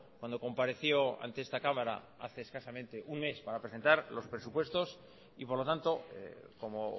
cuando compareció ante esta cámara hace escasamente un mes para presentar los presupuestos y por lo tanto como